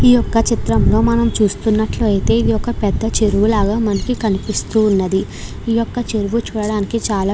ఈ చిత్రం లో మనం చూసినట్టు అయితే మనకి ఒక చెరువు లాగా కనిపిస్తున్నది ఈ యొక్క చెరువు చుడానికి చాల --